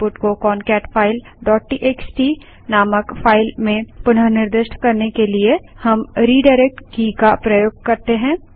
output को concatefileटीएक्सटी नामक फाइल में पुनः निर्दिष्ट करने के लिए हम redirectरिडाइरेक्ट की का प्रयोग कर सकते हैं